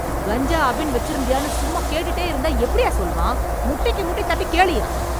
கஞ்சா, அபின் வெச்சிருந்தியான்னு சும்மா கேட்டுட்டே இருந்தா எப்டிய்யா சொல்வான்? முட்டிக்கு முட்டி தட்டி கேளுய்யா...